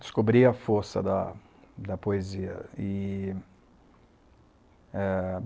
Descobri a força da da poesia. E eh